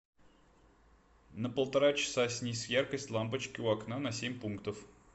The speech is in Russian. на полтора часа снизь яркость лампочки у окна на семь пунктов